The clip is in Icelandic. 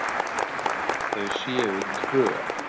Þau séu tvö.